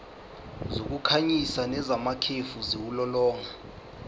zokukhanyisa nezamakhefu ziwulolonga